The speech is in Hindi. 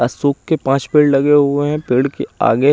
असुके पास पेड़ लगे हुए है पेड़ के आगे--